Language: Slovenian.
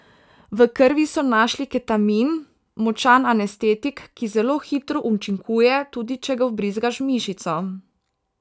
V krvi so našli ketamin, močan anestetik, ki zelo hitro učinkuje, tudi če ga vbrizgaš v mišico.